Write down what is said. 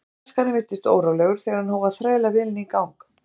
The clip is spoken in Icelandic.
Braskarinn virtist órólegur þegar hann hóf að þræla vélinni í gang.